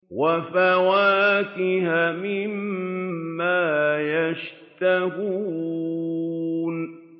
وَفَوَاكِهَ مِمَّا يَشْتَهُونَ